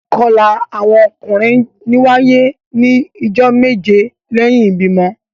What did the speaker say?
Ìkọla awọn ọkunrin ńwaye ni ijọ meje lẹhin ibimọ.